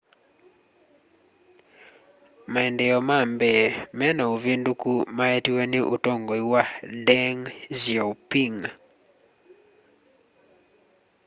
maendeeo ma mbee me na uvinduku maetiwe ni utongoi wa deng xiaoping